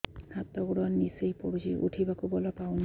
ହାତ ଗୋଡ ନିସେଇ ପଡୁଛି ଉଠିବାକୁ ବଳ ପାଉନି